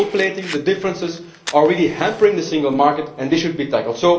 The gold plating and the differences are really hampering the single market, and they should be tackled.